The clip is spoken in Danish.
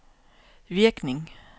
virkning